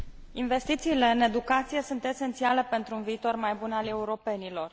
Investițiile în educație sunt esențiale pentru un viitor mai bun al europenilor.